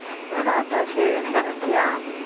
சாப்பிட்டாச்சு நீ சாப்பிட்டியா